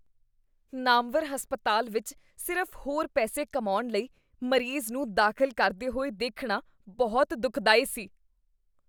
ਨਾਮਵਰ ਹਸਪਤਾਲ ਵਿਚ ਸਿਰਫ਼ ਹੋਰ ਪੈਸੇ ਕਮਾਉਣ ਲਈ ਮਰੀਜ਼ ਨੂੰ ਦਾਖ਼ਲ ਕਰਦੇ ਹੋਏ ਦੇਖਣਾ ਬਹੁਤ ਦੁਖਦਾਈ ਸੀ।